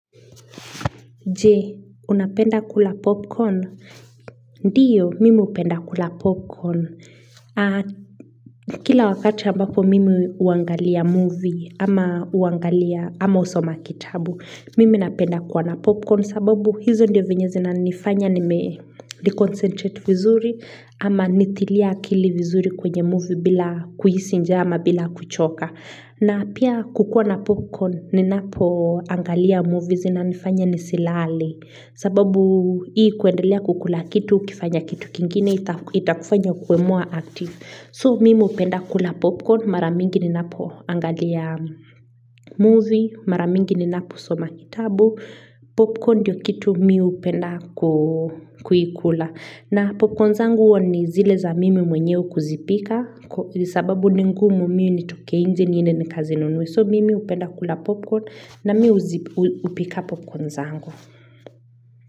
Je, unapenda kula popcorn? Ndiyo, mimi upenda kula popcorn. Kila wakati ambapo mimi uangalia movie ama usoma kitabu, mimi napenda kwa na popcorn sababu hizo ndio venyezi na nifanya ni me-reconcentrate vizuri ama nitilia kili vizuri kwenye movie bila kuhisi njaa ama bila kuchoka. Na pia kukua na popcorn ni napo angalia movies na nifanya nisilale sababu hii kuendelea kukula kitu, kifanya kitu kingine itakufanya kuemua active So mimi upenda kula popcorn, maramingi ni napo angalia movie, maramingi ni napo soma kitabu Popcorn ndiyo kitu miu upenda kuikula na popcorn zangu uwa ni zile za mimi mwenyeo kuzipika Kwa sababu ni ngumu miu ni toke inje niende ni kazinunua So mimi upenda kula popcorn na miu upika popcorn zangu.